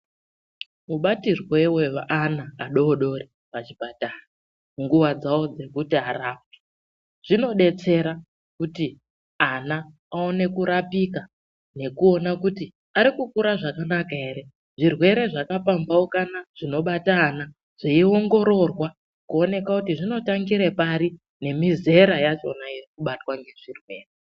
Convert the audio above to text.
Mubatirwe weana adoodori pazvipatara munguwa dzawo dzekuti arapwe, zvinodetsera kuti ana aone kurapika nekuona kuti arikukura zvakanaka ere, zvirwere zvakapambaukana zvinobata ana zveiongororwa kuoneka kuti zvinotangire pari nemizera yachona iri kubatwa ngezvirwere.